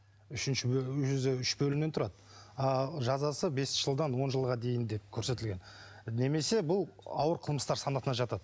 үшінші бөлім өзі үш бөлімнен тұрады а жазасы бес жылдан он жылға дейін деп көрсетілген немесе бұл ауыр қылмыстар санатына жатады